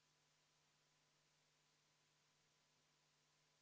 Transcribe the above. Kõik need muudatusettepanekud puudutasid erinevate riigilõivude muudatuste sätete väljajätmist eelnõust.